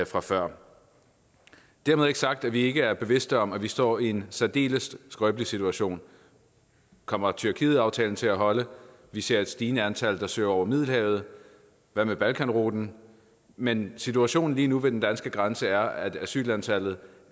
fra før dermed ikke sagt at vi ikke er bevidste om at vi står i en særdeles skrøbelig situation kommer tyrkietaftalen til at holde vi ser et stigende antal der søger over middelhavet hvad med balkanruten men situationen lige nu ved den danske grænse er at asylantallet